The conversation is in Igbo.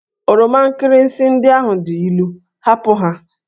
Oroma nkirịsị ndị ahụ dị ilu! hapụ ha!